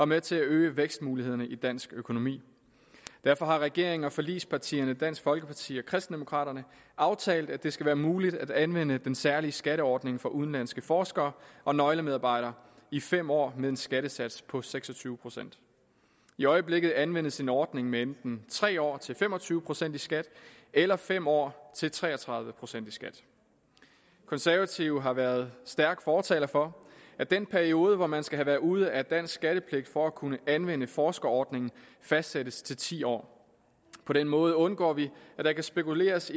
med til at øge vækstmulighederne i dansk økonomi derfor har regeringen og forligspartierne dansk folkeparti og kristendemokraterne aftalt at det skal være muligt at anvende den særlige skatteordning for udenlandske forskere og nøglemedarbejdere i fem år med en skattesats på seks og tyve procent i øjeblikket anvendes en ordning med enten tre år til fem og tyve procent i skat eller fem år til tre og tredive procent i skat konservative har været stærke fortalere for at den periode hvor man skal have været ude af dansk skattepligt for at kunne anvende forskerordningen fastsættes til ti år på den måde undgår vi at der kan spekuleres